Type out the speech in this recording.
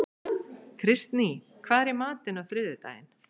Kristný, hvað er í matinn á þriðjudaginn?